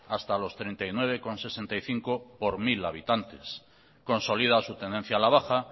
hasta los treinta y nueve coma sesenta y cinco por mil habitantes consolida su tendencia a la baja